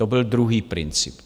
To byl druhý princip.